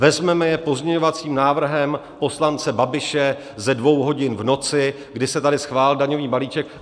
Vezmeme je pozměňovacím návrhem poslance Babiše ze dvou hodin v noci, kdy se tady schválil daňový balíček.